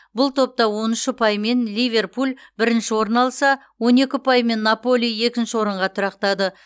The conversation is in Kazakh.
бұл топта он үш ұпаймен ливерпуль бірінші орын алса он екі ұпаймен наполи екінші орынға тұрақтады